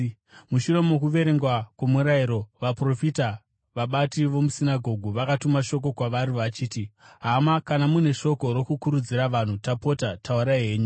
Mushure mokuverengwa kwoMurayiro naVaprofita, vabati vomusinagoge vakatuma shoko kwavari vachiti, “Hama, kana mune shoko rokukuridzira vanhu, tapota taurai henyu.”